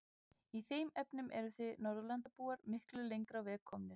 Í þeim efnum eruð þið Norðurlandabúar miklu lengra á veg komnir.